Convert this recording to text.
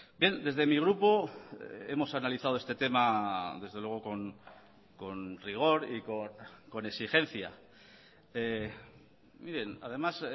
bien desde mi grupo hemos analizado este tema desde luego con rigor y con exigencia miren además